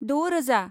द' रोजा